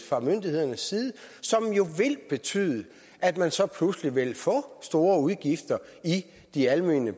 fra myndighedernes side som jo vil betyde at man så pludselig vil få store udgifter i de almene